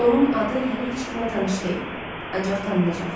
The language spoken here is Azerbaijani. Onun adı hələ heç kimə tanış deyil, ancaq tanınacaq.